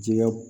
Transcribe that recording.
Jɛgɛw